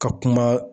Ka kuma